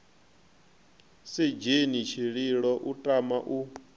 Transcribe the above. sedzheni tshililo u tama u